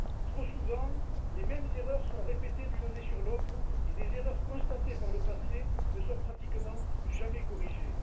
Trop souvent, les mêmes erreurs sont répétées d'année en année et des erreurs constatées par le passé ne sont pratiquement jamais corrigées.